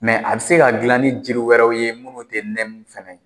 Mɛ a bɛ se ka dilan ni jiri wɛrɛw ye minnu tɛ nɛmu fɛnɛ ye.